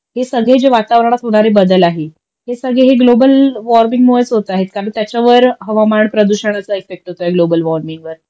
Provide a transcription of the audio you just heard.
हे सगळे जे वातावरणात होणारे बदल आहे हे सगळे हे ग्लोबल वॉर्मिंगमुळेच होत आहेत कारण त्याच्यावर हवामान प्रदूषणाचा इफेक्ट होत आहे ग्लोबल वॉर्मिंगवर